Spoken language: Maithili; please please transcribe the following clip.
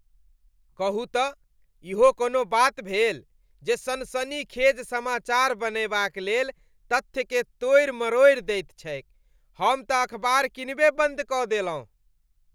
कहू तँ इहो कोनो बात भेल जे सनसनीखेज समाचार बनयबाक लेल तथ्यकेँ तोड़ि मरोड़ि दैत छैक, हमतँ अखबार कीनबे बन्द कऽ देलहुँ।